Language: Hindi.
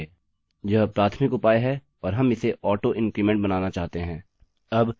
यह प्राथमिक उपाय है और हम इसे auto_increment बनाना चाहते हैं